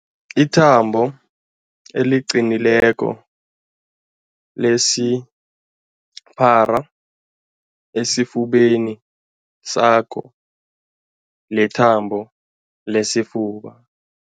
Ithambo eliqinileko elisipara esifubeni sakho lithambo lesifuba.